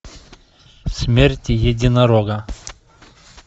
смерть единорога